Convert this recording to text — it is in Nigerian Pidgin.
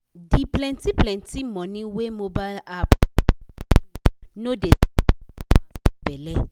di plenty-plenty money wey mobile app wey bank do no dey sweet customers for belle.